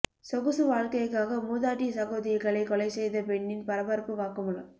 சொகுசு வாழ்க்கைக்காக மூதாட்டி சகோதரிகளை கொலை செய்த பெண்ணின் பரபரப்பு வாக்குமூலம்